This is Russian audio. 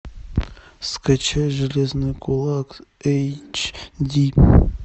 скачай железный кулак эйч ди